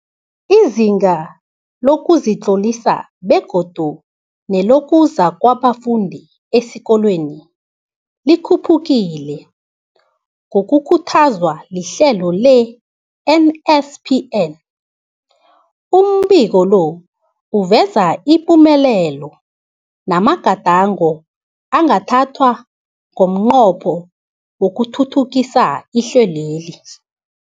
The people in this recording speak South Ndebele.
Izinga lokuzitlolisa begodu nelokuza kwabafundi esikolweni likhuphukile ngokukhuthazwa lihlelo le-NSPN. Umbiko lo uveza ipumelelo namagadango angathathwa ngomnqopho wokuthuthukisa ihlelweli.